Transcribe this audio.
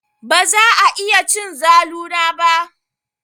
Baza a iya cin zalu na ba.